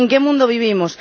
¿En qué mundo vivimos?